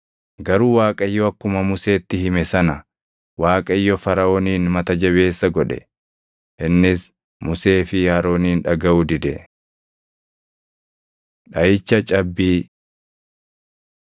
Garuu Waaqayyo akkuma Museetti hime sana Waaqayyo Faraʼoonin mata jabeessa godhe; innis Musee fi Aroonin dhagaʼuu dide. Dhaʼicha Cabbii